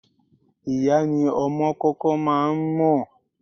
Ìyá ni ọmọ kọ́kọ́ máa ń mọ̀.